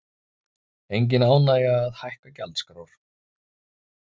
Engin ánægja að hækka gjaldskrár